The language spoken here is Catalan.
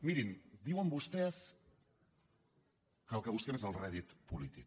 mirin diuen vostès que el que busquem és el rèdit polític